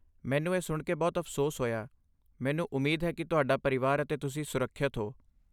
ਮੈਨੂੰ ਇਹ ਸੁਣ ਕੇ ਬਹੁਤ ਅਫ਼ਸੋਸ ਹੋਇਆ, ਮੈਨੂੰ ਉਮੀਦ ਹੈ ਕਿ ਤੁਹਾਡਾ ਪਰਿਵਾਰ ਅਤੇ ਤੁਸੀਂ ਸੁਰੱਖਿਅਤ ਹੋ।